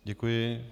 Děkuji.